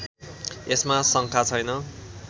यसमा शङ्का छैन